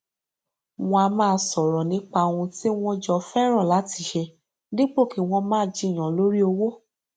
wọn á máa sọrọ nípa ohun tí wọn jọ fẹràn láti ṣe dípò kí wọn máa jiyàn lórí owó